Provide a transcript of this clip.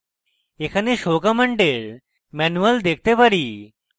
এখানে show command এর manual দেখতে পারি